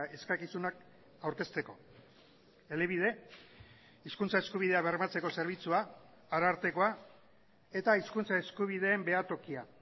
eskakizunak aurkezteko elebide hizkuntza eskubidea bermatzeko zerbitzua arartekoa eta hizkuntza eskubideen behatokia